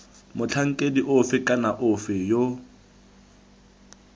motlhankedi ofe kana ofe yo